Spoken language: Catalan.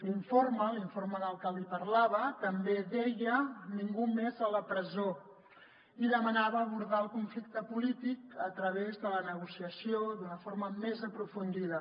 l’informe l’informe del que li parlava també deia ningú més a la presó i demanava abordar el conflicte polític a través de la negociació d’una forma més aprofundida